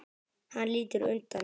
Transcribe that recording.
Hann lítur undan.